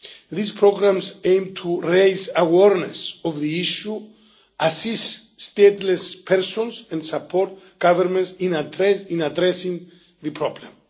These programmes aim to raise awareness of the issue, assist stateless persons and support governments in addressing the problem.